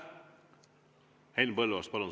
Henn Põlluaas, palun!